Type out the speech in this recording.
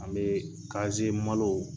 An be kaziye malo